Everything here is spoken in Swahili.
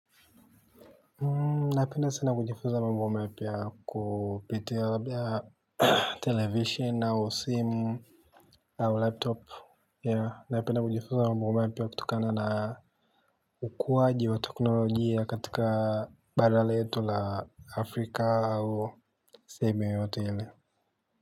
Napenda sana kujifuza mambo mapya kupitia labda televisheni au simu au laptop. Napenda kujifunza mambo mapya kutokana na ukuwaji wa teknolojia katika bara letu la Afrika ausehemu yoyote ile.